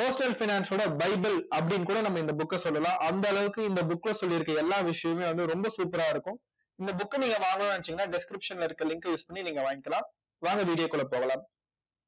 postal finance ஓட bible அப்படின்னு கூட நம்ம இந்த book அ சொல்லலாம் அந்த அளவுக்கு இந்த book ல சொல்லி இருக்க எல்லா விஷயமுமே வந்து ரொம்ப super அ இருக்கும் இந்த புக்க நீங்க வாங்கணும்னு நினைச்சீங்கன்னா description ல இருக்க link use பண்ணி நீங்க வாங்கிக்கலாம் வாங்க video குள்ள போகலாம்